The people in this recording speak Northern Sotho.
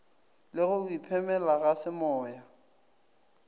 le go iphemela ga semoya